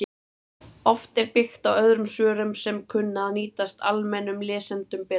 Oft er byggt á öðrum svörum sem kunna að nýtast almennum lesendum betur.